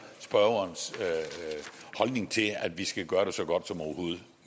spørgerens holdning til at vi skal gøre det så godt som overhovedet